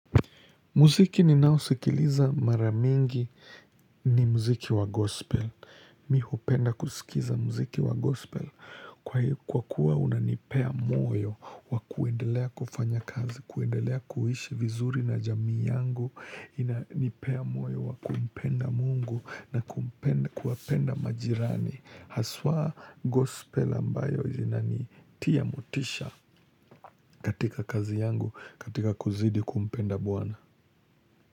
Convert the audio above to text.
Muziki ninaosikiliza mara mingi ni muziki wa gospel. Mimi hupenda kusikiza muziki wa gospel. Kwa kuwa unanipea moyo wa kuendelea kufanya kazi, kuendelea kuishi vizuri na jamii yangu. Inanipea moyo wa kumpenda mungu na kumpenda kuwapenda majirani. Haswa gospel ambayo jina ni tiya motisha katika kazi yangu katika kuzidi kumpenda bwana.